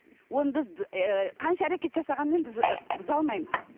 оны біз қанша әрекет жасағанмен біз ы бұза алмаймыз